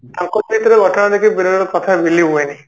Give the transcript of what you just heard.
ତାଙ୍କ ଭିତରେ ଘଟଣା ଟିକେ ବିରଳ କଥା ଭୁଲି ହୁଏନି